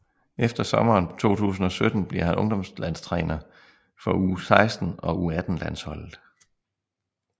Efter sommeren 2017 bliver han ungdomslandstræner for u16 og u18 landsholdet